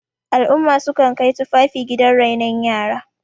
al'umma sukan Kai tufafi gidan renon yara